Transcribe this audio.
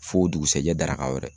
Fo dugusajɛ daraka wɛrɛ.